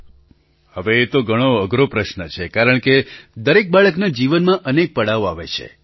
પ્રધાનમંત્રી હવે એ તો ઘણો અઘરો પ્રશ્ન છે કારણકે દરેક બાળકના જીવનમાં અનેક પડાવ આવે છે